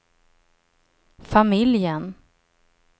familjen